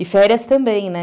E férias também, né?